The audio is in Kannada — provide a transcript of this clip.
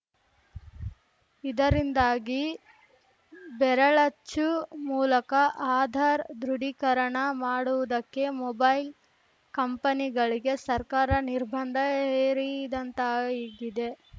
ಇದರಿಂದಾಗಿ ಬೆರಳಚ್ಚು ಮೂಲಕ ಆಧಾರ್‌ ದೃಢೀಕರಣ ಮಾಡುವುದಕ್ಕೆ ಮೊಬೈಲ್‌ ಕಂಪನಿಗಳಿಗೆ ಸರ್ಕಾರ ನಿರ್ಬಂಧ ಹೇರಿದಂತಾಗಿದೆ